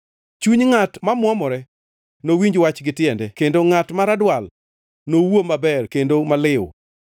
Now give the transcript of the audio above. Chuny ngʼat mamuomore nowinj wach gi tiende kendo ngʼat ma radwal nowuo maber kendo maliw.